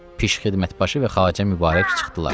Pişk xidmət başı və Xacə Mübarək çıxdılar.